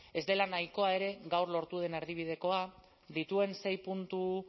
ez dela nahikoa ere gaur lortu den erdibidekoa dituen sei puntu